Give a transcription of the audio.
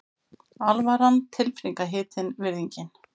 Alvaran tilfinningahitinn, virðingin.